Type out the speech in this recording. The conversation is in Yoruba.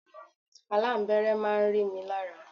Aláǹbẹ́rẹ́ máa ń rí mi lára.